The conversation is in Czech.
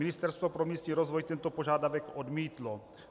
Ministerstvo pro místní rozvoj tento požadavek odmítlo.